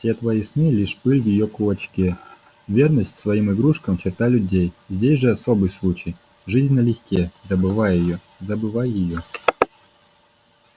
все твои сны лишь пыль в её кулачке верность своим игрушкам черта людей здесь же особый случай жизнь налегке забывай её забывай её